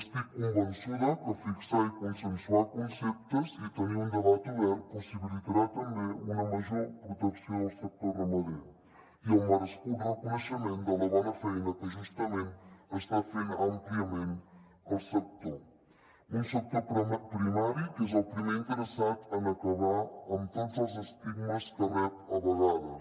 estic convençuda que fixar i consensuar conceptes i tenir un debat obert possibilitarà també una major protecció del sector ramader i el merescut reconeixement de la bona feina que justament està fent àmpliament el sector un sector primari que és el primer interessat en acabar amb tots els estigmes que rep a vegades